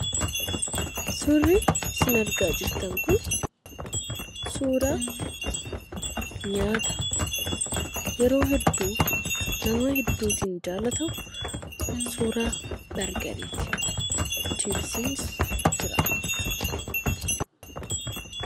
Suurri isin argaa jirtan kun suuraa nyaata yeroo hedduu nama hedduutiin kan jaallatamu suuraa bargariiti, chiipsiinia jira.